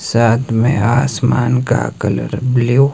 साथ में आसमान का कलर ब्लू --